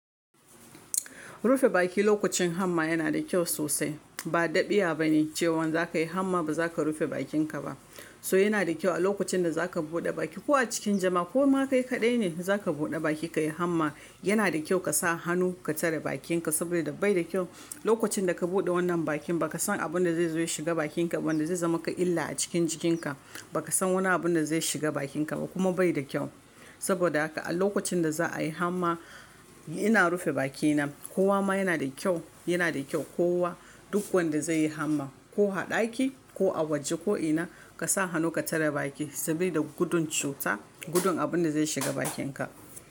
Rufe baki lokacin hamma yana da kyau sosai. Ba ɗabi'a bane cewan za ka yi hamma ba za ka rufe bakinka ba. To yana da kyau a lokacin da za ka buɗe baki ko a cikin jama'a ko ma kai kaɗai ne za ka buɗe baki ka yi hamma yana da kyau ka sa hannu ka tare bakinka saboda bai da kyau lokacin da ka buɗe wannan bakin ba ka san abin da zai zo ya shiga bakinka ba wanda zai zama ka illa a cikin jikinka ba ka san wani abun da zai shiga bakinka ba kuma bai da kyau. Saboda haka a lokacin da za a yi hamma ina rufe bakina ko wa ma yana da kyau, yana da kyau kowa duk wanda zai yi hamma ko a ɗaki ko a waje ko ina ka sa hannu ka tare baki sabida gudun cuta gudun abin da zai shiga bakinka.